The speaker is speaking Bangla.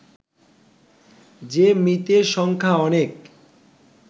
যে মৃতের সংখ্যা অনেক